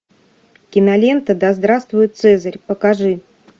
кинолента да здравствует цезарь покажи